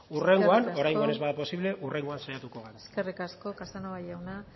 oraingoan ez bada posible hurrengoan saiatuko gara eskerrik asko casanova jauna